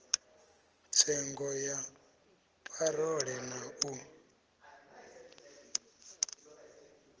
tsengo ya parole na u